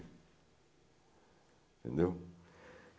Entendeu?